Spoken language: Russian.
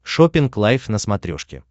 шоппинг лайф на смотрешке